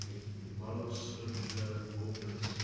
model's circular orbits